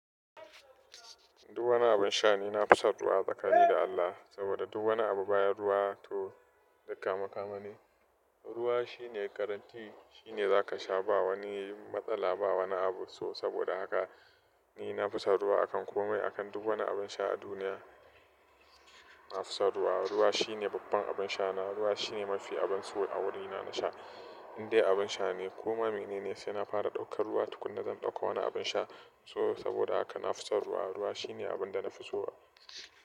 Duk wani abin sha ni na fi son ruwa tsaka ni da Allah. Saboda duk wani abu bayan ruwa to duk kame-kame ne. Ruwa shine garanti, shine za ka sha ba wani matsala, ba wani abu. So saboda haka ni na fi son ruwa akan komai, akan duk wani abin sha a duniya. Na fi son ruwa. Ruwa shine babban abin sha na. Ruwa shine mafi abun so a wurina na sha. Indai abin sha ne. Ko ma mene ne sai na fara ɗaukar ruwa tukuna zan ɗauko wani abin sha. So saboda haka na fi son ruwa. Ruwa shine abin da na fi so.